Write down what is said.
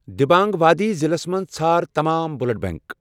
دِبانٛگ وادی ضلعس مَنٛز ژھار تمام بلڈ بینک۔